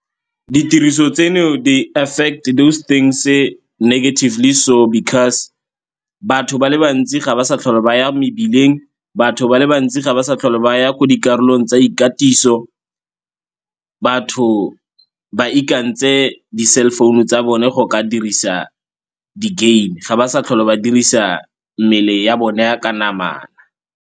Ditiriso tseno they affect those things-e negatively so because batho ba le bantsi ga ba sa tlhole ba ya mebileng, batho ba le bantsi ga ba sa tlhole ba ya ko dikarolong tsa ikatiso, batho ba ikantse di-cell phone-u tsa bone go ka dirisa di-game ga ba sa tlhole ba dirisa mmele ya bone ya ka namana.